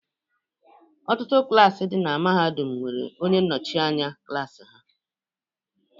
Ọtụtụ klaasị dị na Mahadum nwere onye nnọchi anya klaasị ha.